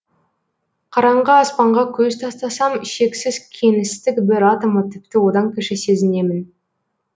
қараңғы аспанға көз тастасам шексіз кеңістік бір атомы тіпті одан кіші сезінемін